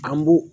An b'u